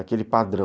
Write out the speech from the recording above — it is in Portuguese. Aquele padrão...